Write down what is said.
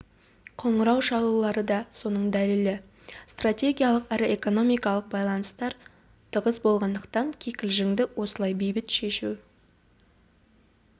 қоңырау шалулары да соның дәлелі стратегиялық әрі экономикалық байланыстар тығыз болғандықтан кикілжіңді осылай бейбіт шешу